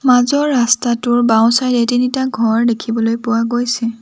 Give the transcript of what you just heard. মাজৰ ৰাস্তাটোৰ বাওঁচাইদে তিনিটা ঘৰ দেখিবলৈ পোৱা গৈছে।